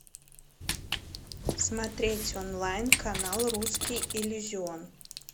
смотреть онлайн канал русский иллюзион